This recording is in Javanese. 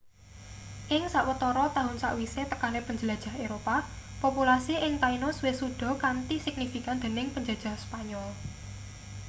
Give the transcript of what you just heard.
ing sawetara taun sakwise tekane penjelajah eropa populasi ing tainos wis suda kanthi signifikan dening penjajah spanyol